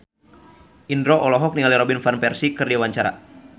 Indro olohok ningali Robin Van Persie keur diwawancara